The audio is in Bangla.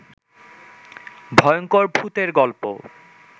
ভয়ংকর ভূতের গল্প